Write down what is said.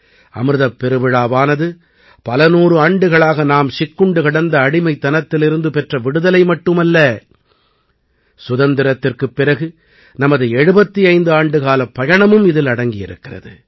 அமிர்தப் பெருவிழாவானது பலநூறு ஆண்டுகளாக நாம் சிக்குண்டு கிடந்த அடிமைத்தனத்திலிருந்து பெற்ற விடுதலை மட்டுமல்ல சுதந்திரத்திற்குப் பிறகு நமது 75 ஆண்டுக்காலப் பயணமும் இதில் அடங்கியிருக்கிறது